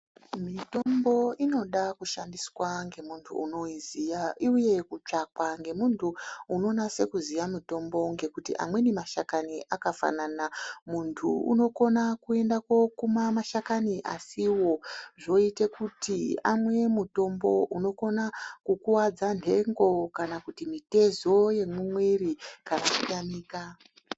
Mitombo inoda kushandiswa ngevanhu vanoziya uye kutsvakwa ngemuntu unonase kuziya mitombo ngekuti amweni mashakani akafanana. Muntu inokona kokuma mashakani asiwozvoita kuti amweni mitombo unokuvadzaa nhenho kana kuti mitezo yemumiri kana kutamika.